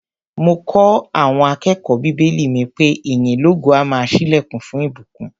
Mo kọ́ àọn akẹ́kọ̀ó bíbélì mi pé ìyìn lógo á máa ṣílẹ̀kùn fún ìbùkún.